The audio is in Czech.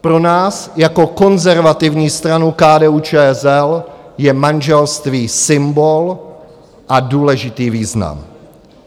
Pro nás jako konzervativní stranu KDU-ČSL je manželství symbol a důležitý význam.